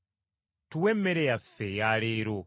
Otuwenga emmere yaffe eya buli lunaku.